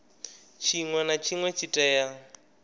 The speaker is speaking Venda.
tshinwe na tshinwe tshi tea